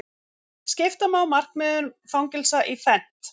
Skipta má markmiðum fangelsa í fernt.